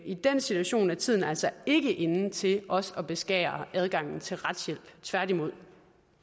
i den situation er tiden altså ikke inde til også at beskære adgangen til retshjælp tværtimod